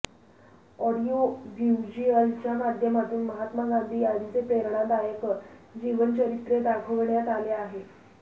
audio व्हिज्युअलच्या माध्यमातून महात्मा गांधी यांचे प्रेरणादायक जीवनचरित्र दाखविण्यात आले आहे